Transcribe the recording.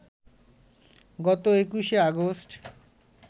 গত ২১শে অগাস্ট